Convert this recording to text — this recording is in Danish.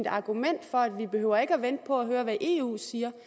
argument for at vi ikke behøver at vente på at høre hvad eu siger